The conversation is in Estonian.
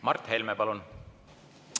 Mart Helme, palun!